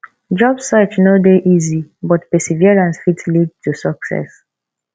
job search no dey easy but perseverance fit lead to success